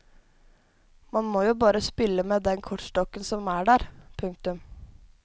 Man må jo bare spille med den kortstokken som er der. punktum